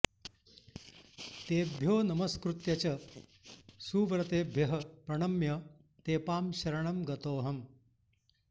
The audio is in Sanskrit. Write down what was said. तेभ्यो नमस्कृत्य च सुव्रतेभ्यः प्रणम्य तेपां शरणं गतोऽहम्